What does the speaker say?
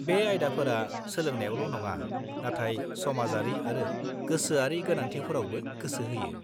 बे आयदाफोरा सोलोंनायावल' नङा नाथाय समाजारि आरो गोसोआरि गोनांथिफोरावबो गोसो होयो।